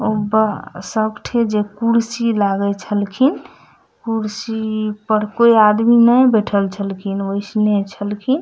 उ बा सब ठे जे कुर्सी लागइ छलखिन कुर्सी पर कोई आदमी नए बईठल छलखिन ओइसने छलखिन।